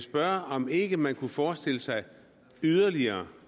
spørge om ikke man kunne forestille sig yderligere